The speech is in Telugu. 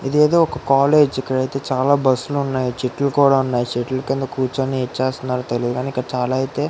ఇదేదో ఒక కాలేజ్ చాలా బస్సెస్ ఉన్నాయి. చెట్లు కూడా ఉన్నాయి. చెట్లు కింద కూర్చొని ఏం చేస్తున్నారు తెలియదు కానీ. ఇక్కడ అయితే --